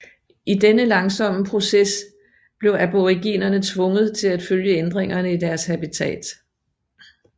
I denne langsomme proces blev aboriginerne tvunget til at følge ændringerne i deres habitat